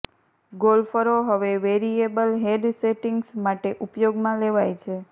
ગોલ્ફરો હવે variable head settings માટે ઉપયોગમાં લેવાય છે